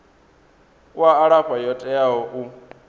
u alafha yo teaho u